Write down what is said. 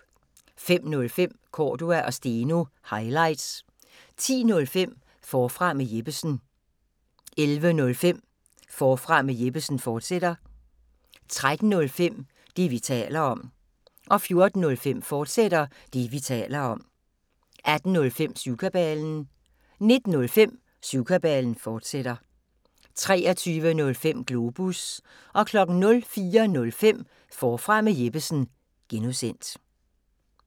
05:05: Cordua & Steno – highlights 10:05: Forfra med Jeppesen 11:05: Forfra med Jeppesen, fortsat 13:05: Det, vi taler om 14:05: Det, vi taler om, fortsat 18:05: Syvkabalen 19:05: Syvkabalen, fortsat 23:05: Globus 04:05: Forfra med Jeppesen (G)